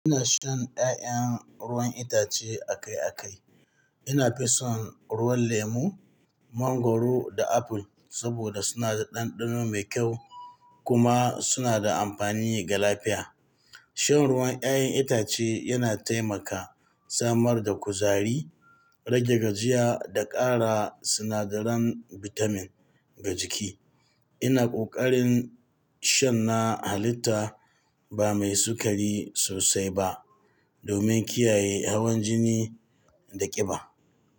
Ina shan ƴaƴan ruwan itace akai-akai. Ina fison ruwan lemu, mangoro da apple saboda suna da ɗanɗano mai kyau kuma suna da amfani ga lafiya. Shan ruwan ƴaƴan itace yana taimaka samar da kuzari, rage gajiya da ƙara sinadaran bitamin ga jiki. Ina ƙoƙarin shan na halitta ba mai sukari sosai ba domin kiyaye hawan jini da ƙiba.